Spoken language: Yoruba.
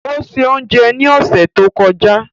O ṣé oúnjẹ ní ọ̀sẹ̀ tó kọjá.